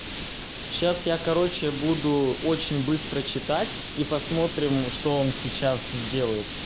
сейчас я короче буду очень быстро читать и посмотрим что он сейчас сделает